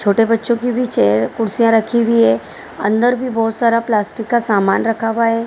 छोटे बच्चों की भी चेयर कुर्सियां रखी हुई है अंदर भी बहुत सारा प्लास्टिक का सामान रखा हुआ है।